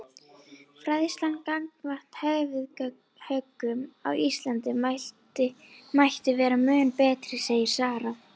Fræðslan gagnvart höfuðhöggum á Íslandi mætti vera mun betri segir Sara.